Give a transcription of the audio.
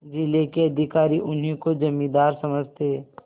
जिले के अधिकारी उन्हीं को जमींदार समझते